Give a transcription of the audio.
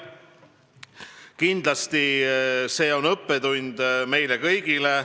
Kindlasti on see õppetund meile kõigile.